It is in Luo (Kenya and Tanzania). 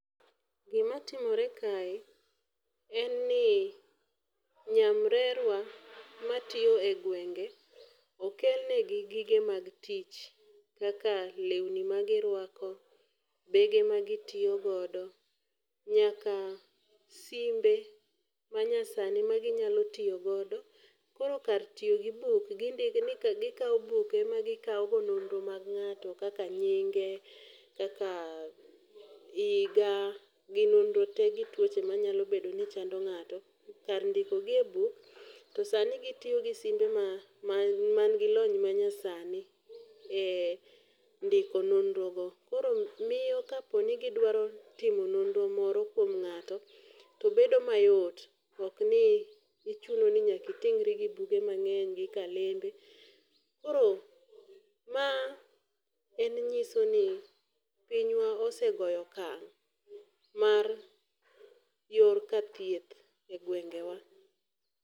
Gimatimore kae en ni, nyamrerwa matiyo e gwenge okelnegi gige mag tich kaka lewni magirwako, bege magitiyogodo nyaka simbe manyasani maginyalo tiyogodo, koro kar tiyo gi buk gikawo buk ema gikawo go nonro mag ng'ato kaka nyinge, kaka higa gi nonro te gi tuoche manyalo bedo ni chando ng'ato. Kar ndiko gi e buk, to sani gitiyo gi simbe mangi lony manyasani e ndiko nonrogo. Koro miyo kaponi gidwaro timo nonro moro kuom ng'ato, to bedo mayot okni ichuno ni nyaki iting'ri gi buge mang'eny gi kalembe. Koro ma en ng'iso ni pinywa osegoyo okang' mar yor ka thieth e gwengewa.